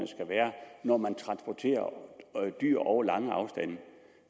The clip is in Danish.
skal være når man transporterer dyr over lange afstande